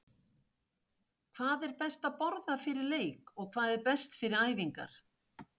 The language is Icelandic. Hvað er best að borða fyrir leik og hvað er best fyrir æfingar?